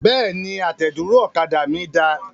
Bẹ́ẹ̀ni, àtẹ̀dúró ọ̀kadà mí da.